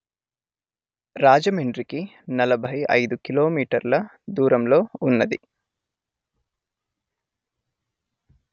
రాజమండ్రికి నలభై అయిదు కిలోమీటర్ల దూరంలో వున్నది